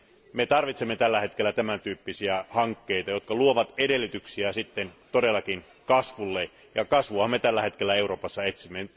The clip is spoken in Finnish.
Me tarvitsemme tällä hetkellä tämän tyyppisiä hankkeita, jotka luovat edellytyksiä todellakin kasvulle, ja kasvuahan me tällä hetkellä Euroopassa etsimme.